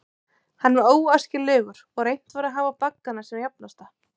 Hann var óæskilegur, og reynt var að hafa baggana sem jafnasta.